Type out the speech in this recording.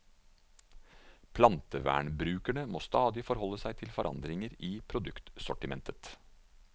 Plantevernbrukerne må stadig forhold seg til forandringer i produktsortimentet.